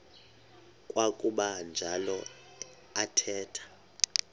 kwakuba njalo athetha